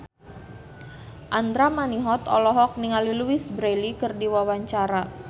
Andra Manihot olohok ningali Louise Brealey keur diwawancara